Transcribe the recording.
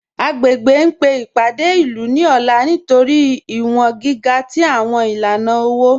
Agbègbè ń pe ipádé ilú ní ọ̀là nítorí iwọ̀n gíga tí awọn ilànà owo